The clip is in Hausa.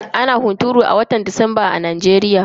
Ana hunturu a watan disamba a Najeriya.